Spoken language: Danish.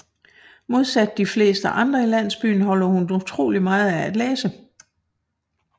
Modsat de fleste andre i landsbyen holder hun utroligt meget af at læse